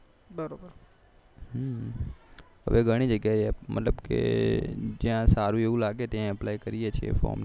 ઘણી જગ્યાએ મતલબ કે જ્યાં સારું એવું લાગે ત્યાં અપ્લાય કરીએ છીએ